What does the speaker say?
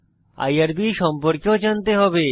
IRB সম্পর্কেও জানতে হবে